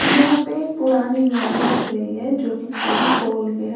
यहां पे पुरानी गाड़ी दिख रही है जो की पूरी खोल के है।